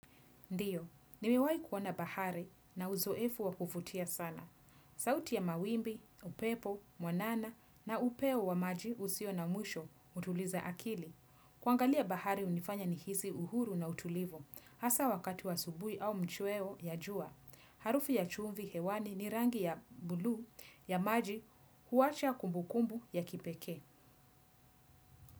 Ndiyo, nimewahi kuona bahari, nina uzoefu wa kuvutia sana. Sauti ya mawimbi, upepo mwanana na upeo wa maji usio na mwisho hutuliza akili. Kuangalia bahari hunifanya nihisi uhuru na utulivu. Hasa wakati wa asubuhi au machweo ya jua. Harufu ya chumvi hewani ni rangi ya bluu ya maji huacha kumbukumbu ya kipekee.